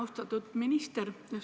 Austatud minister!